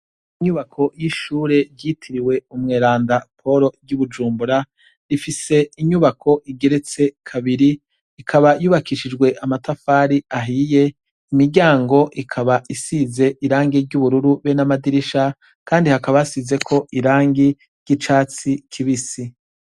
Ishure ryitiriwe umweranda Paul ry’i bujumbura rifise inyubako igeretse kabiri ikaba yubakishijwe amatafari ahiye imiryango ikaba isize irangi ry’ubururu be namadirisha kandi hakaba hasizeko irangi ry’icatsi kibisi.